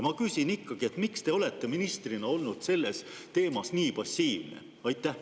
Ma küsin ikkagi: miks te olete ministrina olnud sellel teemal nii passiivne?